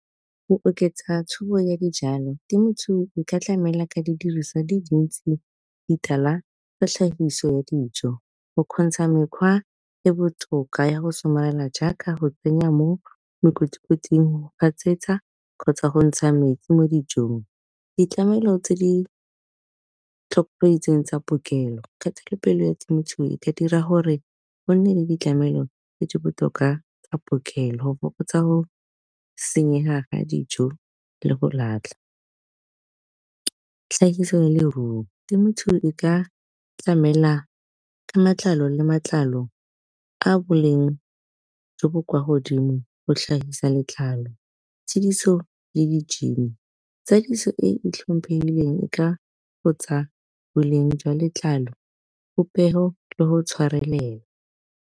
Go oketsa ya dijalo temothuo e ka tlamela ka di diriswa di dintsi ditala tsa tlhahiso dijo, go kgontsha mekgwa e botoka ya go somarela jaaka go tsenya mo makoti-koting, go gatsetsa kgotsa go ntsha metsi mo dijong. Ditlamelo tse di tsa kgatelopele ya temothuo e ka dira gore go nne le ditlamelo tse di botoka tsa , go fokotsa go senyega ga dijo le go latlha. Tlhahiso le leruo temothuo e ka tlamela ka matlalo le matlalo a boleng jo bo kwa godimo go tlhagisa letlalo tsadiso le , tsadiso e e tlhomphegileng e ka fokotsa boleng jwa letlalo popego le go tshwarelela.